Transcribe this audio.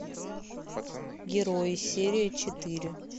герои серия четыре